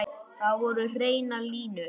Þar voru hreinar línur.